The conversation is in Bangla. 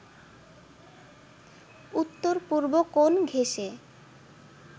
উত্তর-পূর্ব কোণ ঘেঁষে